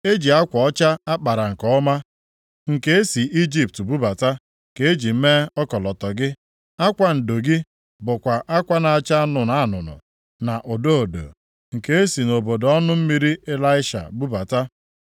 Ezi akwa ọcha a kpara nke ọma, nke e si Ijipt bubata, ka e ji mee ọkọlọtọ gị. Akwa ndo gị bụkwa akwa na-acha anụnụ anụnụ, na odo odo, nke e si nʼobodo ọnụ mmiri Elisha bubata.